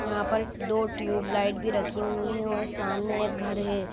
यहाँ पर दो ट्यूब लाइट भी रखी हुई है और सामने एक घर है।